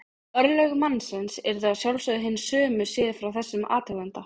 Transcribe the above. Örlög mannsins yrðu að sjálfsögðu hin sömu séð frá þessum athuganda.